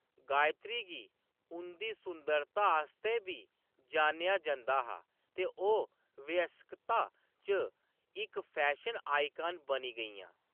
गायत्री गी उंʼदी सुंदरता आस्तै बी जानेआ जंदा हा ते ओह्‌‌ वयस्कता च इक फैशन आइकन बनी गेइयां।